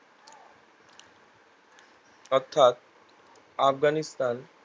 অর্থাৎ আবগানিস্তান